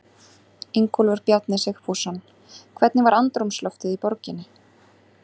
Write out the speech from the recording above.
Ingólfur Bjarni Sigfússon: Hvernig var andrúmsloftið í borginni?